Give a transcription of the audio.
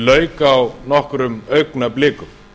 lauk á nokkrum augnablikum